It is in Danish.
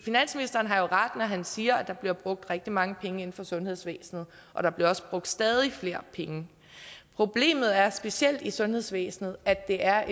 finansministeren har jo ret når han siger at der bliver brugt rigtig mange penge inden for sundhedsvæsenet og der bliver også brugt stadig flere penge problemet er specielt i sundhedsvæsenet at det er